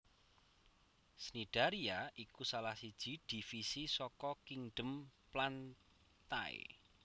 Cnidaria iku salah siji divisi saka kingdom plantae